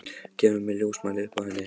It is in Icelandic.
Kemur með ljósmæli upp að henni.